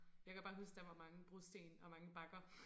Jeg kan bare huske der var mange brosten og mange bakker